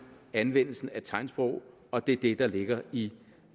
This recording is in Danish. anvendelsen af tegnsprog og det er det der ligger i